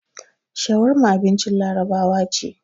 Shawarma abincin Larabawa ce.